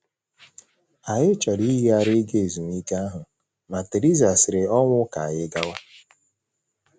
Anyị chọrọ iyigharị ịga ezumike ahụ, ma Theresa siri ọnwụ ka anyị gawa.